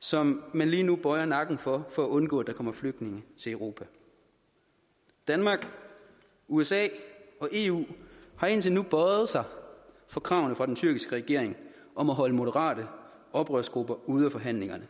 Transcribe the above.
som man lige nu bøjer nakken over for for at undgå at der kommer flygtninge til europa danmark usa og eu har indtil nu bøjet sig for kravene fra den tyrkiske regering om at holde moderate oprørsgrupper ude af forhandlingerne